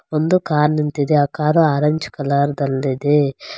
ಒಂದು ಕಾರ್ ನಿಂತಿದೆ ಆ ಕಾರು ಆರೆಂಜ್ ಕಲರ್ ದಲ್ಲಿದೆ.